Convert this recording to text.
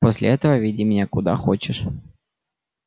после этого веди меня куда хочешь